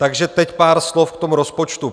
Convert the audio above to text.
Takže teď pár slov k tomu rozpočtu.